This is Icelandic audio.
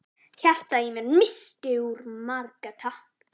Hjartað í mér missti úr marga takta.